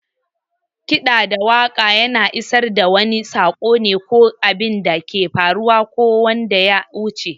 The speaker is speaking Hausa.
Kiɗa da waƙa yana isar da wani sako ne, ko abinda ke faruwa ko wanda yawuce.